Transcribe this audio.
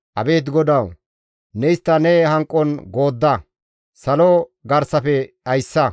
Abeet GODAWU! Ne istta ne hanqon goodda; salo garsafe dhayssa.